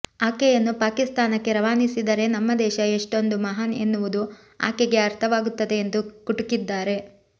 ಆಕೆಯನ್ನು ಪಾಕಿಸ್ತಾನಕ್ಕೆ ರವಾನಿಸಿದರೆ ನಮ್ಮ ದೇಶ ಎಷ್ಟೊಂದು ಮಹಾನ್ ಎನ್ನುವುದು ಆಕೆಗೆ ಅರ್ಥವಾಗುತ್ತದೆ ಎಂದು ಕುಟುಕಿದ್ದಾರೆ